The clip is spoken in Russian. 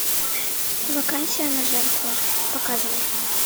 вакансия на жертву показывай